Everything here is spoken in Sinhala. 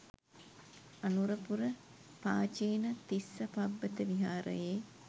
අනුරපුර පාචීන තිස්ස පබ්බත විහාරයේ